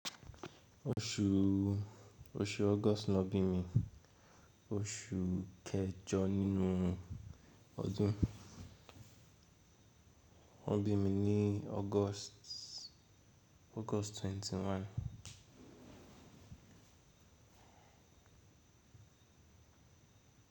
Oṣu August ló bí mi. Oṣu kejọ nínú ọdún. Wọ́n bí mi ní August 21.